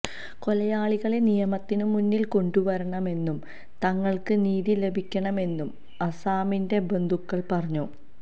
കൊലയാളികളെ നിയമത്തിന് മുന്നില് കൊണ്ടുവരണമെന്നും തങ്ങള്ക്ക് നീതി ലഭിക്കണമെന്നും ആസാമിന്റെ ബന്ധുക്കള് പറഞ്ഞു